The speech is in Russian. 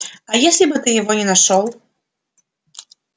а если бы ты его не нашёл